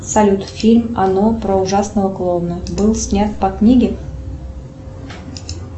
салют фильм оно про ужасного клоуна был снят по книге